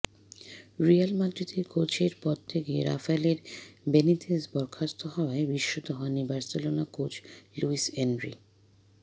Real মাদ্রিদের কোচের পদ থেকে রাফায়েলে বেনিতেস বরখাস্ত হওয়ায় বিস্মিত হননি বার্সেলোনা কোচ লুইস এনরি